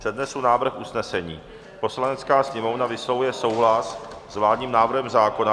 Přednesu návrh usnesení: "Poslanecká sněmovna vyslovuje souhlas s vládním návrhem zákona...